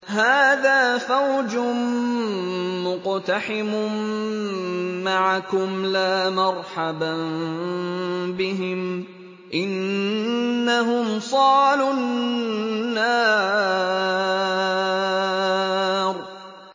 هَٰذَا فَوْجٌ مُّقْتَحِمٌ مَّعَكُمْ ۖ لَا مَرْحَبًا بِهِمْ ۚ إِنَّهُمْ صَالُو النَّارِ